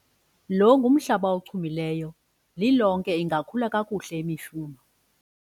lo ngumhlaba ochumileyo, lilonke ingakhula kakuhle imifuno